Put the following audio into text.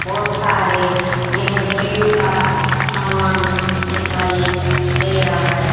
बहुत सारे यह जिम का सामान दिखाई दे रहा है।